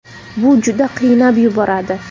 Bu juda qiynab yuboradi.